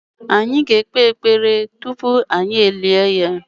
Anyị ga-ekpe ekpere tupu anyị e lie ya.